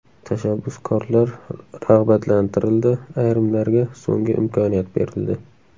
Tashabbuskorlar rag‘batlantirildi, ayrimlarga so‘nggi imkoniyat berildi.